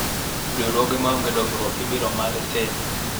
riwruoge maonge dongruok ibiro maa lesen